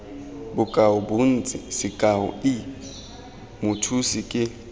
bokaobontsi sekao i mothusi ke